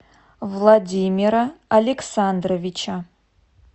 владимира александровича